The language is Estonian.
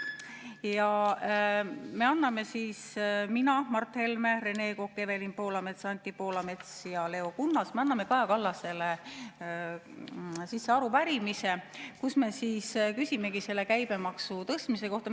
Ja me – mina, Mart Helme, Rene Kokk, Evelin Poolamets, Anti Poolamets ja Leo Kunnas – anname Kaja Kallasele arupärimise, kus me küsimegi selle käibemaksu tõstmise kohta.